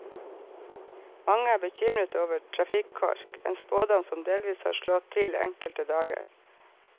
Mange er bekymret over trafikkork, en spådom som delvis har slått til enkelte dager.